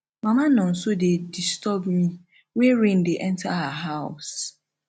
mama nonso dey disturb me wey rain dey enter her house